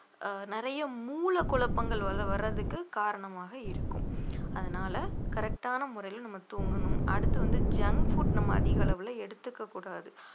ஆஹ் நிறைய மூல குழப்பங்கள் வர்ற~ வர்றதுக்கு காரணமாக இருக்கும் அதனால correct ஆன முறையில நம்ம தூங்கணும் அடுத்து வந்து junk food நம்ம அதிக அளவுல எடுத்துக்கக் கூடாது